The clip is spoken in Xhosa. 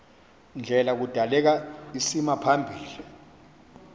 ndlela kudaleka isimaphambili